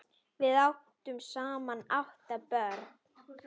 Þau áttu saman átta börn.